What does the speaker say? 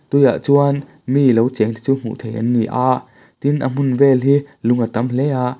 tui ah chuan mi lo cheng te chu hmuh theih ani ni a tin a hmun vel hi lung a tam hle a.